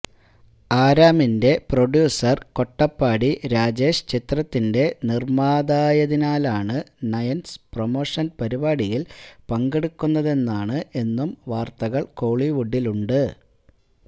അരാമിന്റെ producer Kottapadi Rajesh ചിത്രത്തിന്റെ നിർമാതായതിനാലാണ് Nayans promotion പരിപാടിയിൽ പങ്കെടുക്കുന്നതെന്നാണ് എന്നും വാർത്തകൾ കോളിവുഡിലുണ്ട്